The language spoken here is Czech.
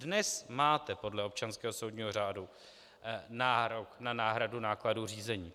Dnes máte podle občanského soudního řádu nárok na náhradu nákladů řízení.